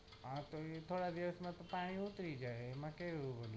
આ તો એકાદ દિવસ માં તો પાણી ઉતારી જાય એમાં કેવું હોય